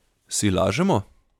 Si lažemo?